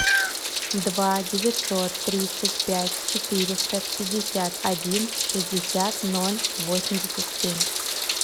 два девятьсот тридцать пять четыреста пятьдесят один шестьдесят ноль восемьдесят семь